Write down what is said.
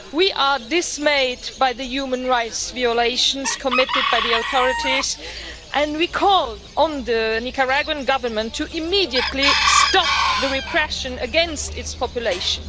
We are dismayed by the human rights violations committed by the authorities, and we call on the Nicaraguan Government to immediately stop the repression against its population.